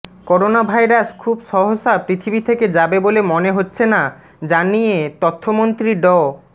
corona virus খুব সহসা পৃথিবী থেকে যাবে বলে মনে হচ্ছে না জানিয়ে তথ্যমন্ত্রী ড